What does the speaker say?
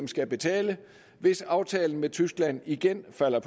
skal betale hvis aftalen med tyskland igen falder